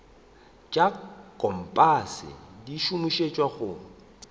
tša kompase di šomišetšwa go